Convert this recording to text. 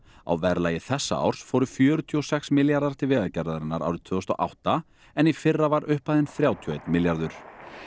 á verðlagi þessa árs fóru fjörutíu og sex milljarðar til Vegagerðarinnar árið tvö þúsund og átta en í fyrra var upphæðin þrjátíu og einn milljarður